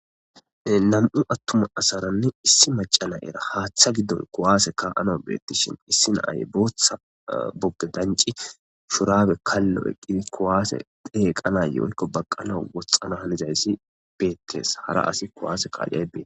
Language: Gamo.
Nam'u attuma asarane issi macca na'eira haththa giddon kuwasse ka'anawu bettishin issi na'ay booththa bogge dancci shurabe kallo eqqidi kuwase dheqanayo woykko baqqanawu woxxana hanizaysi bettes haara asi kuwase kaiyay bettes.